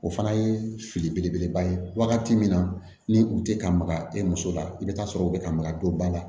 O fana ye fili belebeleba ye wagati min na ni u tɛ ka maga e muso la i bɛ taa sɔrɔ u bɛ ka maga don ba la